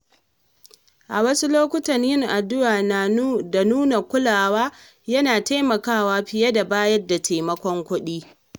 A wasu lokuta, yin addu’a da nuna kulawa yana taimakawa fiye da bayar da taimakon kuɗi.